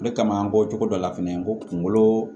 O de kama an bɔcogo dɔ la fɛnɛ n ko kungolo